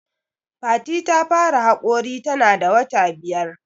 Fati ta fara haƙori ta na da wata biyar